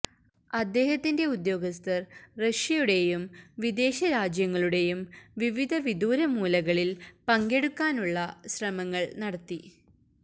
അദ്ദേഹത്തിന്റെ ഉദ്യോഗസ്ഥർ റഷ്യയുടെയും വിദേശ രാജ്യങ്ങളുടെയും വിവിധ വിദൂര മൂലകളിൽ പങ്കെടുക്കാനുള്ള ശ്രമങ്ങൾ നടത്തി